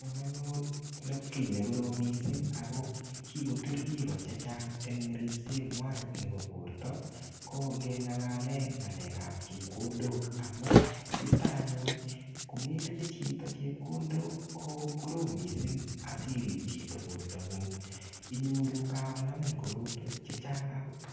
Cham anyun nepkii ne korom missing ako kikotur biiko chechang eng ripset ngwai nebo porto, ko ngeng'alale ng'alekap chepkondok. Amu, yutok anyun, kometinye chito chepkondok, ko korom missing asirip chito porto ngung. Inyoru kakonamin korotwek chechang agot.